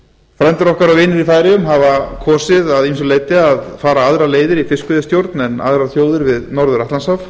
frændur okkar og vinir í færeyjum hafa kosið að ýmsu leyti að fara aðrar leiðir í fiskveiðistjórn en aðrar þjóðir við norður atlantshaf